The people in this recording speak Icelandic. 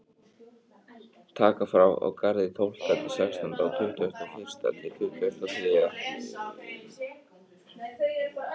Taka frá á Garði tólfta til sextánda og tuttugasta og fyrsta til tuttugasta og þriðja.